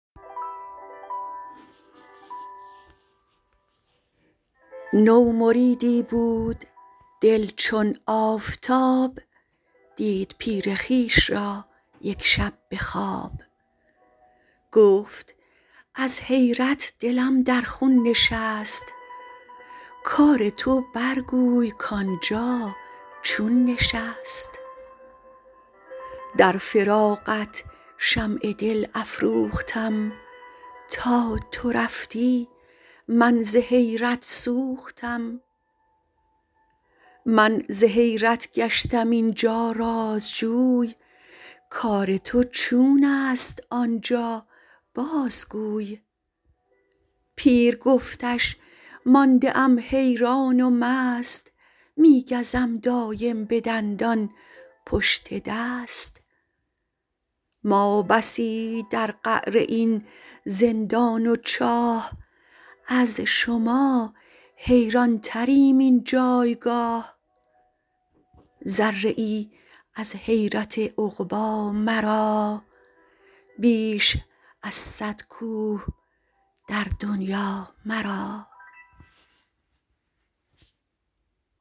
نو مریدی بود دل چون آفتاب دید پیر خویش را یک شب به خواب گفت از حیرت دلم در خون نشست کار تو برگوی کانجا چون نشست در فراقت شمع دل افروختم تا تو رفتی من ز حیرت سوختم من ز حیرت گشتم اینجا رازجوی کار تو چونست آنجا بازگوی پیر گفتش مانده ام حیران و مست می گزم دایم به دندان پشت دست ما بسی در قعر این زندان و چاه از شما حیران تریم این جایگاه ذره ای از حیرت عقبی مرا بیش از صد کوه در دنیا مرا